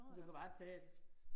Du kan bare tage det